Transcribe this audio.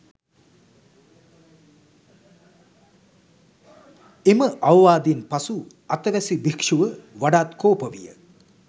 එම අවවාදයෙන් පසු අතවැසි භික්‍ෂුව වඩාත් කෝප විය.